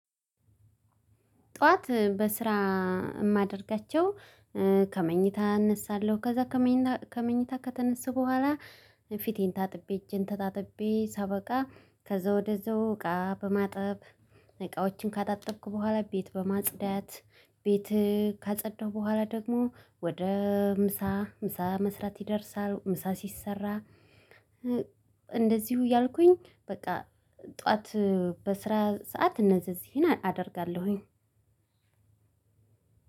ጠዋት በስራ እማደርጋቸው ከመኝታ እነሳለሁ ከዛ ከመኝታ ከተነሳው በኋላ ፊቴን ታጥቤ እጄን ተታጥቤ ሳበቃ ከዛ ወደዛው እቃ በማጠብ እቃዎችን ካጣጥብኩ በኋላ ቤት በማጽዳት ቤት ካጸዳሁ በኋላ ደግሞ ወደ ምሳ ምሳ መስራት ይደርሳል። ምሳ ሲሰራ እንደዚሁ እያልኩኝ በቃ ጠዋት በስራ ሰዓት እነዚህን አደርጋለሁኝ።